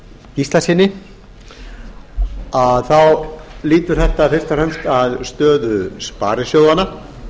gíslasyni þetta lýtur fyrst og fremst að stöðu sparisjóðanna